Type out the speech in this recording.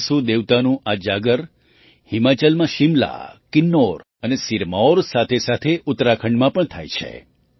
મહાસૂ દેવતાનું આ જાગર હિમાચલમાં શિમલા કિન્નૌર અને સિરમૌર સાથેસાથે ઉત્તરાખંડમાં પણ થાય છે